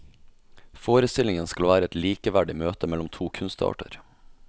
Forestillingen skal være et likeverdig møte mellom to kunstarter.